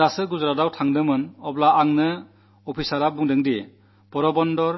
ഞാൻ ഇപ്പോൾ ഗുജറാത്തിൽ പോയിരുന്നപ്പോൾ ഓഫീസർമാർ പറഞ്ഞത് പോർബന്തർ